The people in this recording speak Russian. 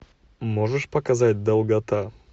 можешь показать долгота